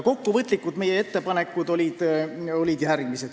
Kokkuvõtlikult olid meie ettepanekud järgmised.